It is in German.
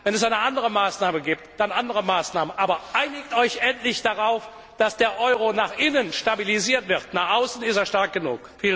Wenn es eine andere Maßnahme gibt, dann bitte andere Maßnahmen, aber einigt Euch endlich darauf, dass der Euro nach innen stabilisiert wird, nach außen ist er stark genug.